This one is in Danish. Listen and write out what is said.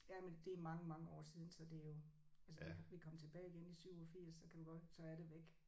Ja men det er mange mange år siden så det er jo altså vi vi kom tilbage igen i 87 så kan du godt så er det væk